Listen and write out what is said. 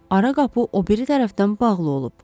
Ara qapı o biri tərəfdən bağlı olub.